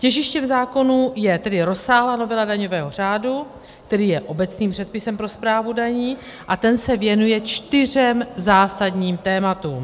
Těžištěm zákonu je tedy rozsáhlá novela daňového řádu, který je obecným předpisem pro správu daní, a ten se věnuje čtyřem zásadním tématům.